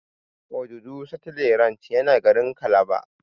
Obudu cattle ranch yana garin calabar.